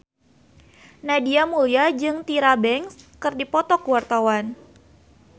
Nadia Mulya jeung Tyra Banks keur dipoto ku wartawan